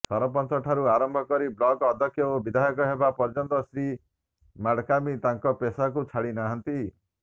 ସରପଞ୍ଚଠାରୁ ଆରମ୍ଭ କରି ବ୍ଲକ ଅଧ୍ୟକ୍ଷ ଓ ବିଧାୟକ ହେବା ପର୍ଯ୍ୟନ୍ତ ଶ୍ରୀ ମାଡକାମି ତାଙ୍କ ପେଷାକୁ ଛାଡି ନାହାନ୍ତି